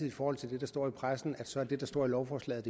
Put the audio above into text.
i forhold til det der står i pressen så er det det der står i lovforslaget